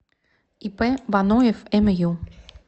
ип боноев мю